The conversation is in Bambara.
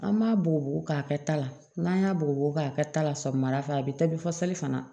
An b'a bugubugu ka kɛ ta la n'an y'a bugubugu k'a kɛ ta la sɔgɔmada fɛ a be taabi fɔ sali fana